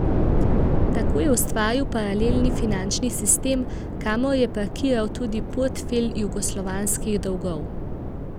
Tako je ustvaril paralelni finančni sistem, kamor je parkiral tudi portfelj jugoslovanskih dolgov.